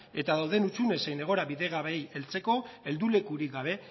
eta dauden hutsune zein egoera bidegabeei heltzeko heldulekurik gabe